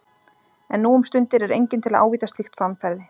En nú um stundir er enginn til að ávíta slíkt framferði.